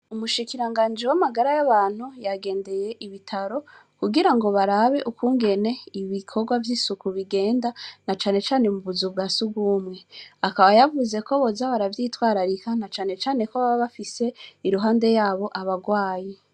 Umushikiranganji w’amagara y'abantu yagendeye ibitaro kugira ngo barabe ukungene ibikorwa vy'isuku bigenda na canecane mu buzu bwa si ugumwe akaba yavuze ko bozabaravyitwararika na canecane ko baba bafise iruhande yabo abarwayi.